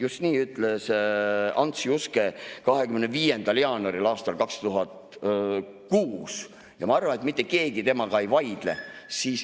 Just nii ütles Ants Juske 25. jaanuaril aastal 2006 ja ma arvan, et mitte keegi temaga ei vaidle.